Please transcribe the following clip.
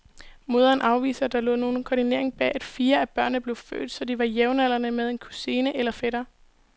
Moderen afviser, at der lå nogen koordinering bag, at fire af børnene blev født, så de var jævnaldrende med en kusine eller fætter.